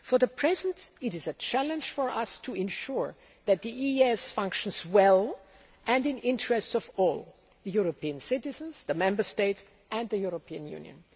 For the present, it is a challenge for us to ensure that the EEAS functions well and in the interests of all the European citizens, the Member States and the European Union.